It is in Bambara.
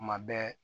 Kuma bɛɛ